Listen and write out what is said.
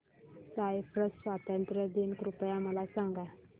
Cyprus स्वातंत्र्य दिन कृपया मला सांगा